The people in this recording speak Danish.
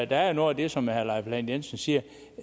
der er noget af det som herre leif lahn jensen siger